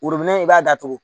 i b'a datugu